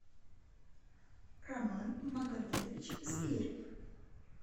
роман магометович зверев